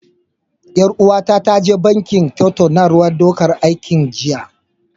Ƴar uwata ta je banki tattaunawar ɗaukan aiki jiya.